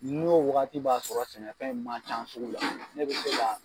N'o wagati b'a sɔrɔ sɛnɛfɛn in ma ca sugu la, ne bi se ka